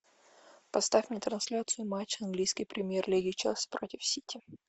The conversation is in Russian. поставь мне трансляцию матча английской премьер лиги челси против сити